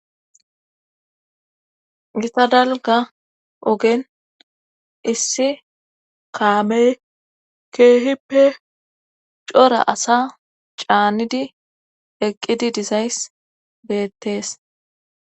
Gita dalga ogen issi kaamey keehippe cora asa caanidi eqqidi dizays beettees